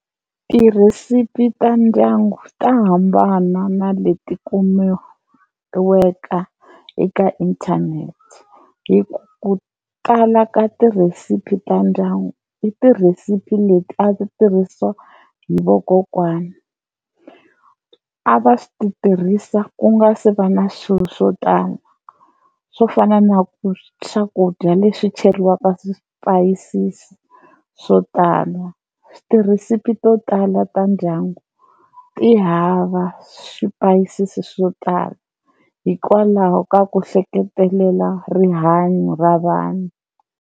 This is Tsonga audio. Tirhisiphi ta ndyangu ta hambana na leti kumekiweka eka inthanete hi ku kala tirhesiphi ta ndyangu i tirhisiphi leti a ti tirhisiwa hi vakokwani, a va swi ti tirhisa ku nga se va na swilo swo tala swo fana na ku swakudya leswi cheriwaka swipayisisi swo tala, tirhisipi to tala ta ndyangu ti hava swipayisisi swo tala hikwalaho ka ku hleketelela rihanyo ra vanhu.